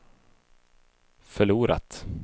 förlorat